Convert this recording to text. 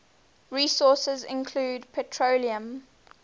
resources include petroleum